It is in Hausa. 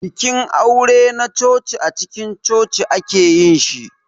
Bikin aure na coci acikin coci ake yin shi.